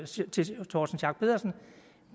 sige til herre torsten schack pedersen